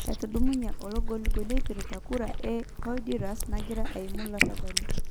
Etudumunye olongolingoli epirta kura e Honduras nagira aima larabali.